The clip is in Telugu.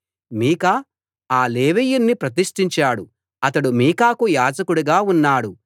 మీకా ఆ లేవీయుణ్ణి ప్రతిష్టించాడు అతడు మీకాకు యాజకుడుగా ఉన్నాడు